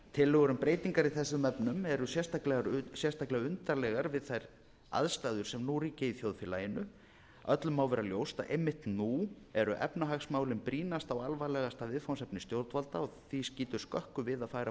tillögur um breytingar í þessum efnum eru sérstaklega undarlegar við þær aðstæður sem nú ríkja í þjóðfélaginu öllum má vera ljóst að einmitt nú eru efnahagsmálin brýnasta og alvarlegasta viðfangsefni stjórnvalda og skýtur því skökku við að færa